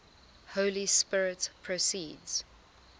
holy spirit proceeds